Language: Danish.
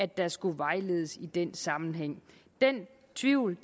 der skulle vejledes i den sammenhæng den tvivl